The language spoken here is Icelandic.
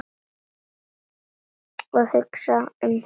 Og hugsa um hann.